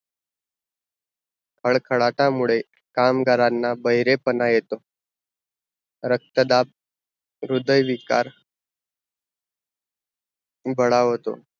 खडखडाटा मुड़े कामगारांना बहेरेपना येतो रक्त दाब र्हुदय विकार बढावतो